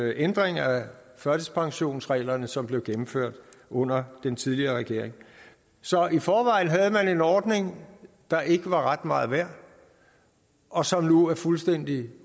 ændring af førtidspensionsreglerne som blev gennemført under den tidligere regering så i forvejen havde man en ordning der ikke var ret meget værd og som nu er fuldstændig